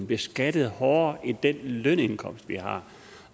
beskattet hårdere end den lønindkomst de har